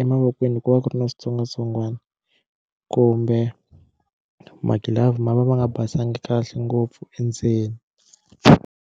emavokweni ko va ku ri na switsongwatsongwana kumbe magilavhu ma va ma nga basangi kahle ngopfu endzeni.